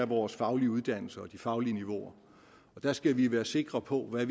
vores faglige uddannelser og de faglige niveauer der skal vi være sikre på hvad